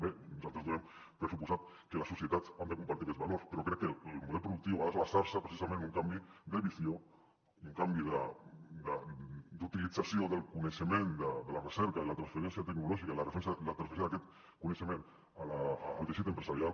bé nosaltres donem per suposat que a la societat hem de compartir aquests valors però crec que el model productiu ha de basar·se precisament en un canvi de visió i un canvi d’utilització del coneixement de la recerca i la transferència tecnolò·gica i la transferència d’aquest coneixement al teixit empresarial